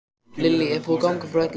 Lillý, er búið að ganga frá öllu?